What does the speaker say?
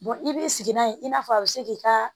i b'i sigi n'a ye i n'a fɔ a bɛ se k'i ka